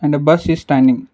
and a bus is standing.